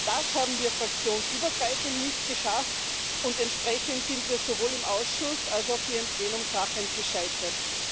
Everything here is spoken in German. Das haben wir fraktionsübergreifend nicht geschafft, und entsprechend sind wir sowohl im Ausschuss als auch hier im Plenum krachend gescheitert.